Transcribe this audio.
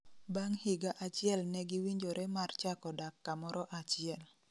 Bang' higa achiel negiwinjore mar chako dak kamoro achiel